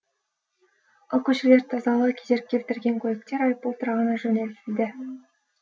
ал көшелерді тазалауға кедергі келтірген көліктер айыппұл тұрағына жөнелтілді